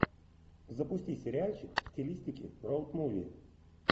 запусти сериальчик в стилистике роуд муви